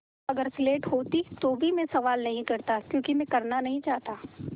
अगर स्लेट होती तो भी मैं सवाल नहीं करता क्योंकि मैं करना नहीं चाहता